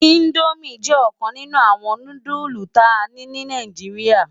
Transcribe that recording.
Indómi jè okan ninù áwòn núdùlú ta ni nì Náijiriá